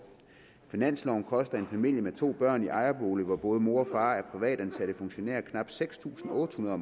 finansloven koster en familie med to børn i ejerbolig hvor både mor og far er privatansatte funktionærer knap seks tusind otte hundrede